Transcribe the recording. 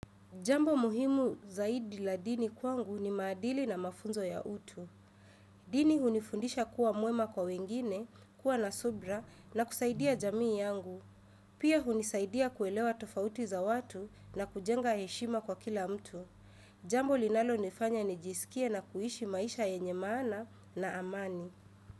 Jambo muhimu zaidi la dini kwangu ni maadili na mafunzo ya utu. Dini hunifundisha kuwa mwema kwa wengine, kuwa na subra na kusaidia jamii yangu. Pia hunisaidia kuelewa tofauti za watu na kujenga heshima kwa kila mtu. Jambo linalo nifanya nijisikie na kuhishi maisha yenye maana na amani.